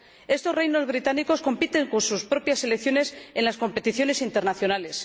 Estos reinos británicos compiten con sus propias selecciones en las competiciones internacionales